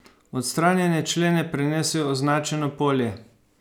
Odstranjene člene prenesi v označeno polje.